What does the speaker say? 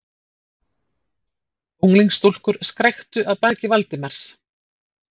Unglingsstúlkur skræktu að baki Valdimars.